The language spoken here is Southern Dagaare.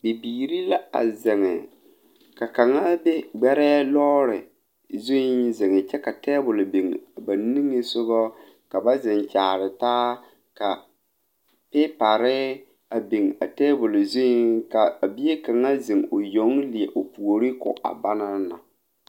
Bibiiri la zeŋ gbɛre kaŋ meŋ poɔ la ba poɔŋ o zeŋ la a gbɛrɛɛ sakere zu poɔ kyɛ ka taabol kpoŋ kaŋ biŋ ba niŋe ba deɛ deɛ boma tɔgele la a taabol zu ka paŋ zeŋ a